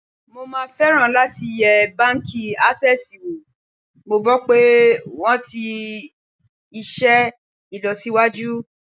Mo máa fẹ́ràn láti yẹ báńkì Ásẹ́sìì wò, mo gbọ́ pé wón ti iṣẹ́ ìlọsíwájú.